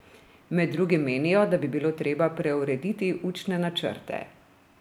Med drugim menijo, da bi bilo treba preurediti učne načrte.